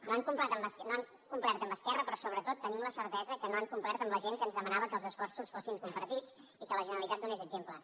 no han complert amb esquerra però sobretot tenim la certesa que no han complert amb la gent que ens demanava que els esforços fossin compartits i que la generalitat donés exemple